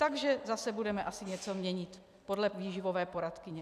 Takže zase budeme asi něco měnit podle výživové poradkyně.